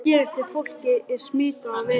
En hvað gerist ef fólkið er smitað af veirunni?